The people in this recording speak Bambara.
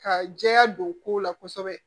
Ka jɛya don kow la kosɛbɛ